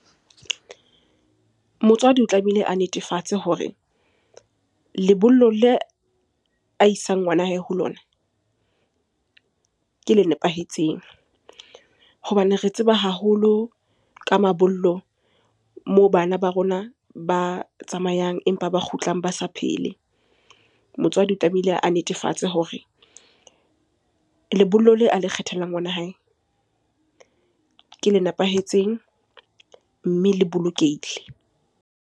Motswadi o tlamehile a netefatse hore lebollo le a isang ngwana hae ho lona, ke le nepahetseng. Hobane re tseba haholo ka mabollo moo bana ba rona ba tsamayang empa ba kgutlang ba sa phele. Motswadi o tlamehile a netefatse hore lebollo le a le kgethelang ngwana hae ke le nepahetseng, mme le bolokehile.